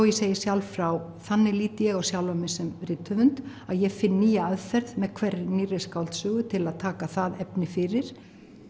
ég segi sjálf frá þannig lít ég á sjálfa mig sem rithöfund ég finn nýja aðferð með hverri nýrri skáldsögu til að taka það efni fyrir